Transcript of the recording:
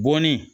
Bɔnni